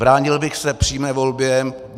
Bránil bych se přímé volbě.